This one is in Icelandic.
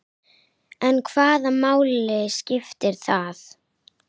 En hvaða máli skiptir það?